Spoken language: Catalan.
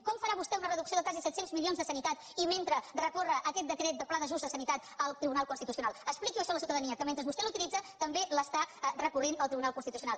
com farà vostè una reducció de quasi set cents milions a sanitat i mentre recórrer aquest decret del pla d’ajust de sanitat al tribunal constitucional expliqui això a la ciutadania que mentre vostè l’utilitza també l’està recorrent al tribunal constitucional